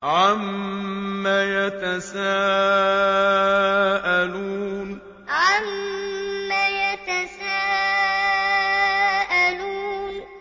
عَمَّ يَتَسَاءَلُونَ عَمَّ يَتَسَاءَلُونَ